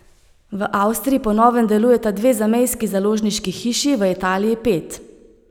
V Avstriji po novem delujeta dve zamejski založniški hiši, v Italiji pet.